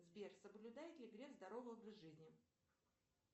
сбер соблюдает ли греф здоровый образ жизни